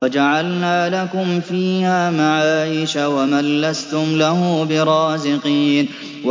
وَجَعَلْنَا لَكُمْ فِيهَا مَعَايِشَ وَمَن لَّسْتُمْ لَهُ بِرَازِقِينَ